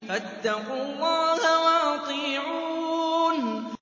فَاتَّقُوا اللَّهَ وَأَطِيعُونِ